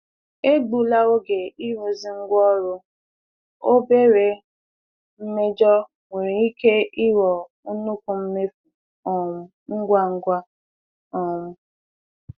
Egbula oge ịrụzi ngwaọrụ; obere mmejọ nwere ike ịghọ nnukwu mmefu um ngwa ngwa. um